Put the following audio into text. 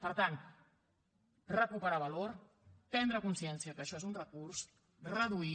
per tant recuperar valor prendre consciencia que això és un recurs reduir